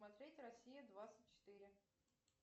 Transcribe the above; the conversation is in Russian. смотреть россия двадцать четыре